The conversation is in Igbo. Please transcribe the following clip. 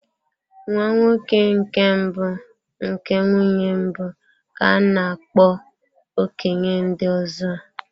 Nwa nwoke nke mbụ nke nwunye mbụ, ka a na-akpo okenye ndị ọzọ.